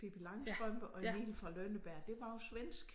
Pippi Langstrømpe og Emil fra Lønneberg det var jo svensk